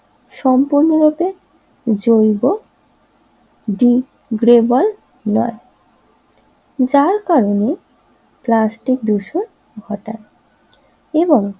সম্পূর্ণরূপে জৈব ডিগ্রেবল নয় যার কারণে প্লাস্টিক দূষণ ঘটায় এবং